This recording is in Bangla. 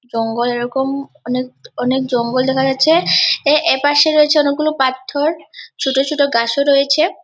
জঙ্গল এরকম অনেক অনেক জঙ্গল দেখা যাচ্ছে | এ এ পাশে রয়েছে অনেকগুলো পাথর ছোট ছোট গাছও রয়েছে।